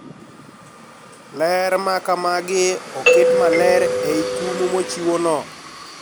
Ler ma kamagi oket maler e I kum mochiw no